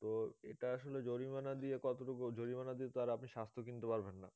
তো এটা আসলে জরিমানা দিয়ে কতটুকু জরিমানা দিয়ে তো আর আপনি স্বাস্থ কিনতে পারবেন না